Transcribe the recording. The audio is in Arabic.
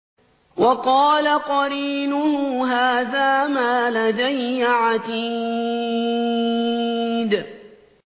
وَقَالَ قَرِينُهُ هَٰذَا مَا لَدَيَّ عَتِيدٌ